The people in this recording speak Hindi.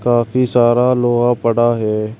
काफी सारा लोहा पड़ा है।